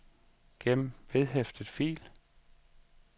gem vedhæftet fil